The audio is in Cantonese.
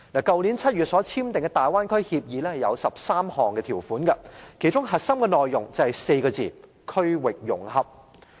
去年7月所簽訂的大灣區協議有13項條款，其中核心內容就是4個字："區域融合"。